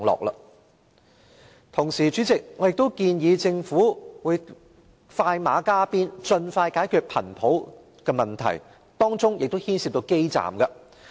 與此同時，主席，我建議政府快馬加鞭，盡快解決頻譜問題，當中亦牽涉流動通訊基站的問題。